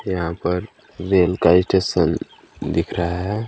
यहाँ पर रेल का स्टेशन दिख रहा है।